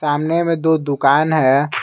सामने में दो दुकान है।